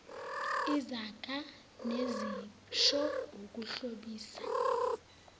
izaga nezisho ukuhlobisa